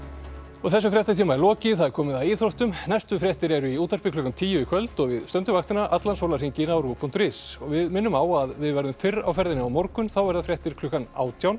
þessum fréttatíma er lokið og það er komið að íþróttum næstu fréttir eru í útvarpi klukkan tíu í kvöld og við stöndum vaktina allan sólarhringinn á rúv punktur is við minnum á að við verðum fyrr á ferðinni á morgun þá verða fréttir klukkan átján